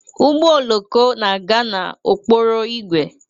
Ụgbọ oloko na-aga n'okporo ígwè